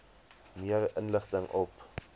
meer inligting op